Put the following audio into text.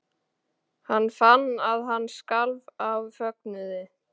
Hann fann að hann skalf af fögnuði.